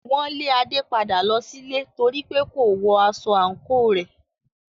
Wọn lé Ade padà lọ sílé nítorípé kò wọ aṣọ àǹkóò rẹ̀.